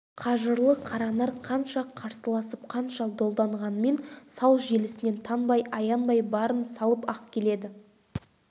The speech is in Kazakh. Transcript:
қажырлы қаранар қанша қарсыласып қанша долданғанмен сау желісінен танбай аянбай барын салып-ақ келеді